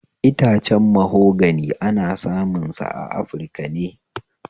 Itacen mahogani ana samun shi a afirika ne